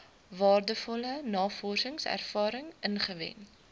waardevolle navorsingservaring ingewin